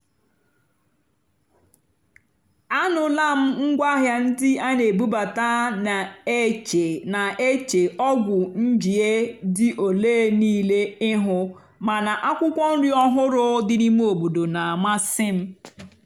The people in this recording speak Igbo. ànụ́lá m ngwáàhịá ndí á nà-èbúbátá nà-èché nà-èché ọ́gwụ́ njìé dì óléé níìlé íhú màná ákwụ́kwọ́ nrì ọ́hụ́rụ́ dì n'íìmé óbòdò nà-àmàsị́ m.